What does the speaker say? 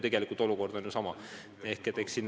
Aga olukord on tegelikult ju sama.